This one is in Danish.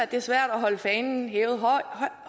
det er svært at holde fanen højt hævet